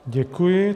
Děkuji.